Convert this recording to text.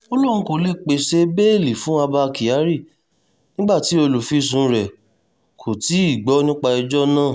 ó lóun kó lè pàṣẹ bẹ́ẹ́lí fún abba kyari nígbà tí olùfisùn rẹ̀ kò tí ì gbọ́ nípa ẹjọ́ náà